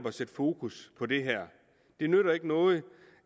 at sætte fokus på det her det nytter ikke noget